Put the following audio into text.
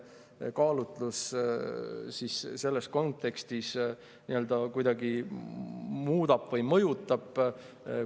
Kas see kaalutlus selles kontekstis midagi muudab või mõjutab?